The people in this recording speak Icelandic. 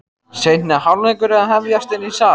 Seinni hálfleikur er að hefjast inni í sal.